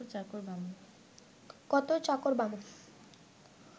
কত চাকর, বামুন